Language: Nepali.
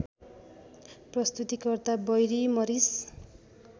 प्रस्तुतिकर्ता बैरी मरिस